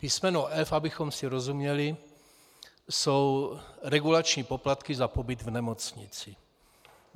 Písmeno f), abychom si rozuměli, jsou regulační poplatky za pobyt v nemocnici.